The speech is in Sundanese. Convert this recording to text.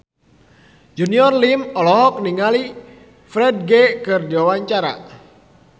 Junior Liem olohok ningali Ferdge keur diwawancara